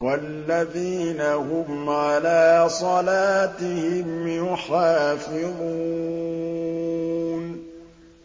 وَالَّذِينَ هُمْ عَلَىٰ صَلَاتِهِمْ يُحَافِظُونَ